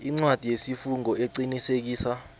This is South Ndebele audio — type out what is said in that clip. incwadi yesifungo eqinisekisa